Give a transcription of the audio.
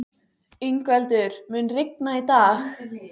Yngveldur, mun rigna í dag?